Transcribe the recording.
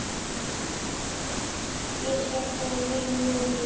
Ég sé þig í júní.